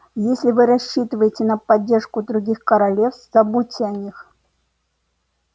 если вы рассчитываете на поддержку других королевств забудьте о них